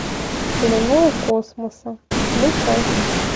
в плену у космоса включай